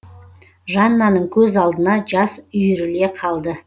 жаннаның көз алдына жас үйіріле қалды